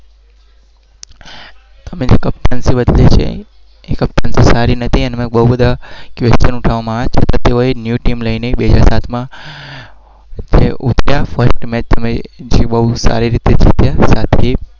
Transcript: જકલજફળજફળસદ